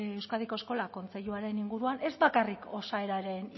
euskadiko eskola kontseiluaren inguruan ez bakarrik osaeraren